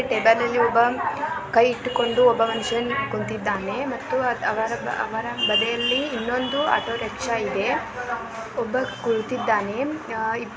Table ಅಲ್ಲಿ ಒಬ್ಬ ಕೈ ಇಟ್ಟುಕೊಂಡು ಒಬ್ಬ ಮನುಷ್ಯ ಕುಂತಿದ್ದಾನೆ ಮತ್ತು ಅವರ ಅವರ ಬದಿಯಲ್ಲಿ ಇನ್ನೊಂದು ಆಟೋ ರಿಕ್ಷಾ ಇದೆ ಒಬ್ಬ ಕುಳಿತಿದ್ದಾನೆ.